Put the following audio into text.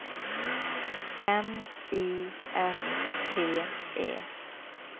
M I S T E